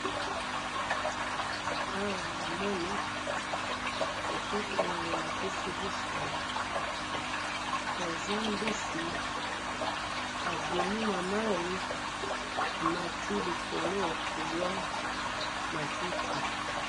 aawa namoni photo oyo bolakisi biso eza mbisi abimi namayi amati likolo koliya matiti